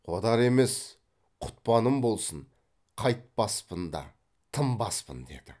қодар емес құтпаным болсын қайтпаспын да тынбаспын деді